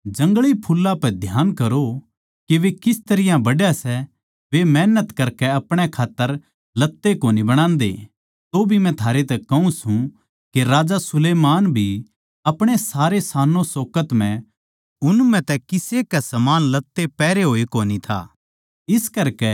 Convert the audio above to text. जंगली फुल्लां पै ध्यान करो के वे किस तरियां बढ़ै सै वे मेहनत करके अपणे खात्तर लत्तें कोनी बणाते तोभी मै थारे तै कहूँ सूं के राजा सुलैमान भी अपणे सारे शानोंशोकत म्ह उन म्ह तै किसे के समान लत्ते पैहरे होए कोनी था